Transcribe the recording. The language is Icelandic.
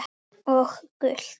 Og gult?